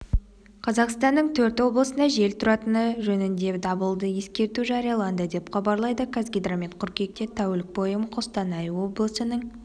қазақстанның төрт облысында жел тұратыны жөніндедабылды ескерту жарияланды деп хабарлайды қазгидромет қыркүйекте тәулік бойы қостанай облысының